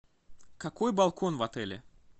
какой балкон в отеле